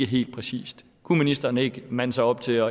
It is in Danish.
helt præcist kunne ministeren ikke mande sig op til at